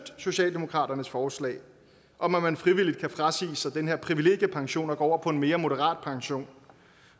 socialdemokratiets forslag om at man frivilligt kan frasige sig den her privilegiepension og gå over på en mere moderat pension